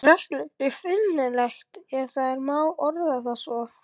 Er réttlætinu fullnægt, ef það má orða það svo?